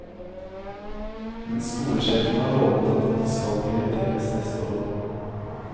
Men skolesjefen har lovet at dette skal prioriteres neste år.